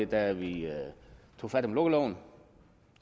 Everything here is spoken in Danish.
da vi tog fat om lukkeloven